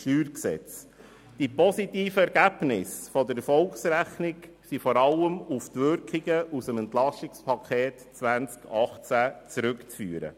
StG. Die positiven Ergebnisse der Erfolgsrechnung sind vor allem auf die Wirkungen des Steuerentlastungspakets 2018 zurückzuführen.